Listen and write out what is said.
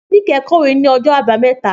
Níkẹ̀ kọ̀wé ní ọjọ́ Àbámẹ́ta.